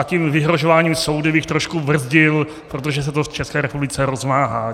A tím vyhrožováním soudy bych trošku brzdil, protože se to v České republice rozmáhá.